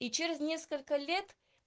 и через несколько лет